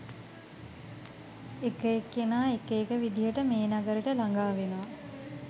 එක එක්කෙනා එක එක විදිහට මේ නගරෙට ලඟා වෙනවා